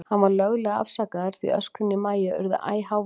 Hann var löglega afsakaður, því öskrin í Maju urðu æ háværari.